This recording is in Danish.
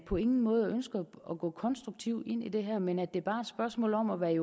på ingen måde ønsker at gå konstruktivt ind i det her men at det bare er et spørgsmål om at være i